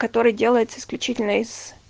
который делается исключительно из